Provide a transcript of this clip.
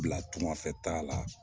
Bila tunga fɛ taa la